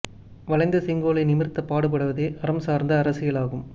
வளைந்த செங்கோலை நிமிர்த்தப் பாடுபடுவதே அறம் சார்ந்த அரசியலாகும்